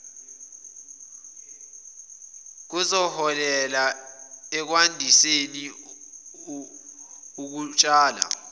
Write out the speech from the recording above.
kuzoholela ekwandiseni ukutshala